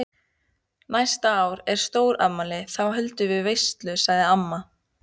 Næsta ár er stórafmæli, þá höldum við veislu sagði amma.